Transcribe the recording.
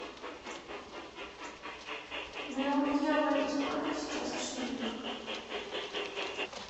миллион евро это сколько сейчас в шиллингах